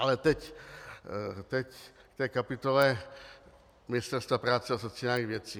Ale teď k té kapitole Ministerstva práce a sociálních věcí.